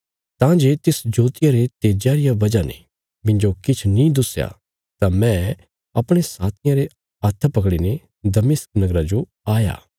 तां जे तिस ज्योतिया रे तेज्जा रिया वजह ने मिन्जो किछ नीं दुस्या तां मैं अपणे साथियां रे हत्थां पकड़ीने दमिश्क नगरा जो आया